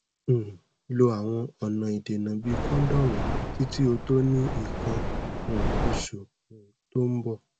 um lo awon ona idena bi condomu titi o to ni ikan um osu um to n bo